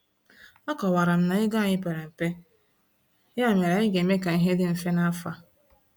Akọwara m na ego anyị pere mpe, ya mere anyị ga-eme ka ihe dị mfe n’afọ a.